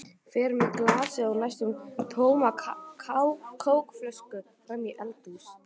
Fer með glasið og næstum tóma kókflöskuna fram í eldhús.